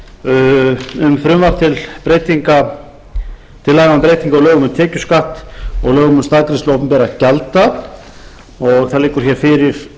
breytingu á lögum um tekjuskatt og lögum um staðgreiðslu opinberra gjalda með síðari breytingu og það liggur hér fyrir